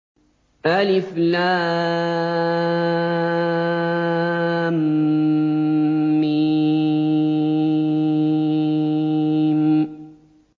الم